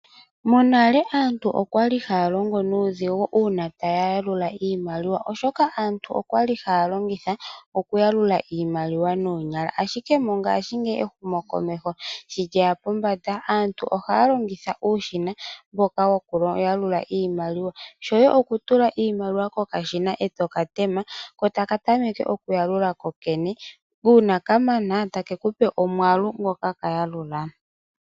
Monale aantu okwa li haya longo nuudhigu uuna taya yalula iimaliwa oshoka aantu okwali haya longitha okuyalula iimaliwa noonyala. Ashike mongashingeyi ehumokomeho sho lyeya pombanda, aantu ohaya longitha uushina mboka woku yalula iimaliwa. Shoye okutula iimaliwa kokashina e to ka tema, ko taka tameke okuyalulo kokena. Uuna ka mana ta ke kupe omwaalu ngoka la yalula.